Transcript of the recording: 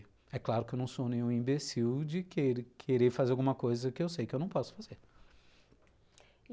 É claro que eu não sou nenhum imbecil de querer fazer alguma coisa que eu sei que eu não posso fazer. E